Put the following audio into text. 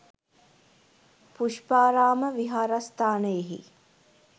Pushparama විහාරස්ථානයෙහි